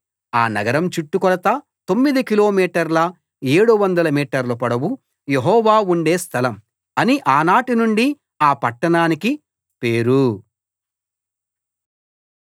ఆ నగరం చుట్టు కొలత తొమ్మిది కిలోమీటర్ల 700 మీటర్ల పొడవు యెహోవా ఉండే స్థలం అని ఆనాటి నుండి ఆ పట్టణానికి పేరు